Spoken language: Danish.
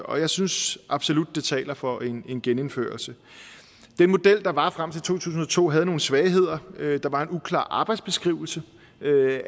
og jeg synes absolut det taler for en genindførelse den model der var frem til to tusind og to havde nogle svagheder der var en uklar arbejdsbeskrivelse